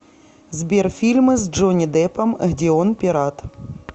сбер фильмы с джонни дэпом где он пират